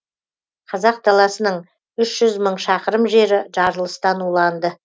қазақ даласының үш жүз мың шақырым жері жарылыстан уланды